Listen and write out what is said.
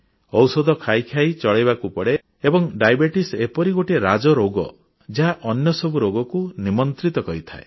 ଔଷଧ ଖାଇ ଖାଇ ଚଳାଇବାକୁ ପଡ଼େ ଏବଂ ମଧୁମେହ ଏପରି ଗୋଟିଏ ରାଜରୋଗ ଯାହା ଅନ୍ୟ ସବୁ ରୋଗକୁ ନିମନ୍ତ୍ରିତ କରିଥାଏ